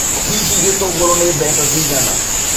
Hihi gĩtũngũrũ nĩ mbeca cigana?